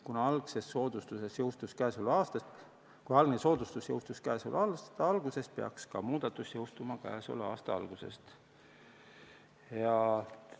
Kuna algne soodustus jõustus käesoleva aasta algusest, peaks ka muudatus jõustuma aasta algusest.